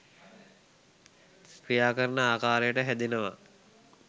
ක්‍රියා කරන ආකාරයට හැදෙනව.